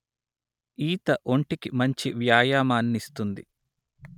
ఈత ఒంటికి మంచి వ్యాయామాన్నిస్తుంది